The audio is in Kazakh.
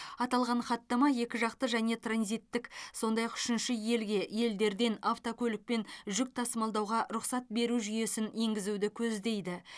аталған хаттама екіжақты және транзиттік сондай ақ үшінші елге елдерден автокөлікпен жүк тасымалдауға рұқсат беру жүйесін енгізуді көздейді